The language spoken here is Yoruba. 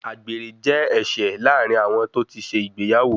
Àgbèrè jẹ́ ẹ̀ṣẹ̀ láàrin àwọn tó ti ṣe ìgbéyàwó.